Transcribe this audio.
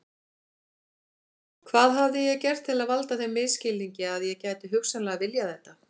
Hvað hafði ég gert til að valda þeim misskilningi að ég gæti hugsanlega viljað þetta?